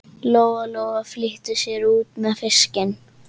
Lóa Lóa flýtti sér út með fiskinn.